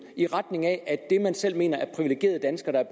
i retning af at dem man selv mener er privilegerede danskere